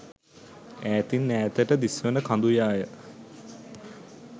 ඈතින් ඈතට දිස්වන කඳු යාය